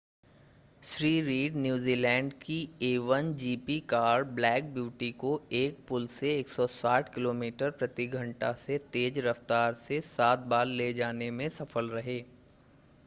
Shri Reid New Zealand की a1gp car Black Beauty को एक पुल से 160 किलोमीटर/घंटा से तेज़ रफ़्तार से सात बार ले जाने में सफल रहे